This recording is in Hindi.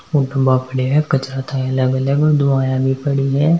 कचरा के डब्बा पड़े हैं दुआएं भी पड़ी हैं।